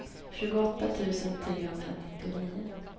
tjugoåtta tusen trehundranittionio